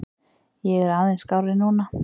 Ég er aðeins skárri núna.